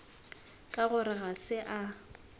ka gore ga se a